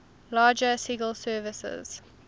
larger sgi servers